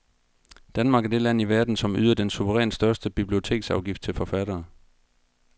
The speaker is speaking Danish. Danmark er det land i verden, som yder den suverænt største biblioteksafgift til forfattere.